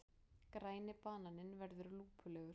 Græni bananinn verður lúpulegur.